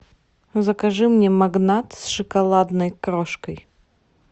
закажи мне магнат с шоколадной крошкой